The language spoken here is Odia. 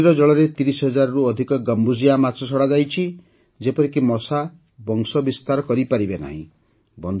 ନଦୀର ଜଳରେ ତିରିଶ ହଜାରରୁ ଅଧିକ ଗମ୍ବୁସିଆ ମାଛ ଛଡ଼ାଯାଇଛି ଯେପରିକି ମଶା ବଂଶବିସ୍ତାର କରିପାରିବେ ନାହିଁ